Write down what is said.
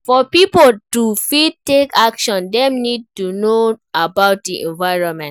For pipo to fit take action dem need to know about di environment